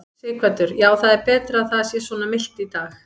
Sighvatur: Já, það er betra að það sé svona milt í dag?